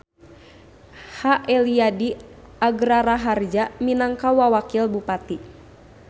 H. Eliyadi Agraraharja minangka Wawakil Bupati.